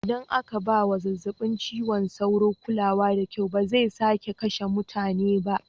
Idan aka ba wa zazzabin cizon sauro kulawa da kyau, ba zai sake kashe mutane ba.